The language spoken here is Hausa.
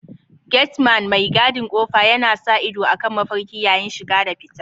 Gateman mai gadin ƙofa yana sa ido akan mafarki yayin shiga da fita.